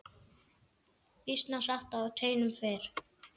Býsna hratt á teinum fer.